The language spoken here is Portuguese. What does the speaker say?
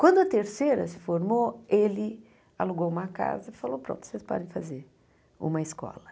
Quando a terceira se formou, ele alugou uma casa e falou, pronto, vocês podem fazer uma escola.